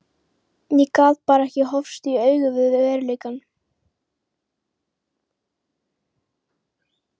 Ég gat bara ekki horfst í augu við veruleikann.